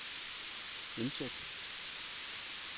indsæt